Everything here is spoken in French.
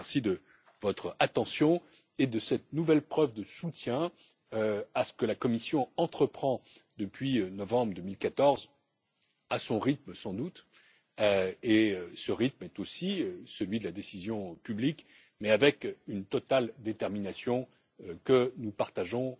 Je vous remercie de votre attention et de cette nouvelle preuve de soutien à ce que la Commission entreprend depuis novembre 2014 à son rythme sans doute, et ce rythme est aussi celui de la décision publique mais avec une totale détermination, que nous partageons,